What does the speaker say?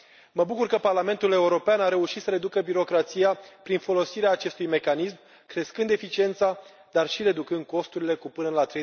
Mă bucur că Parlamentul European a reușit să reducă birocrația prin folosirea acestui mecanism, crescând eficiența, dar și reducând costurile cu până la